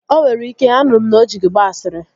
O nwere ike, anụrụ m na o ji gị gbaa ashịrị